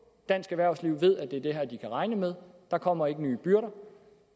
dansk erhvervsliv ved at det er det her de kan regne med der kommer ikke nye byrder